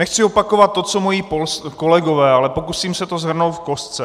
Nechci opakovat to, co moji kolegové, ale pokusím se to shrnout v kostce.